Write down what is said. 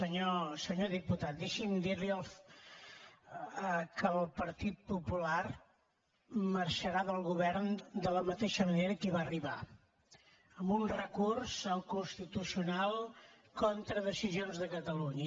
senyor diputat deixi’m dir li que el partit popular marxarà del govern de la mateixa manera que hi va arribar amb un recurs al constitucional contra decisions de catalunya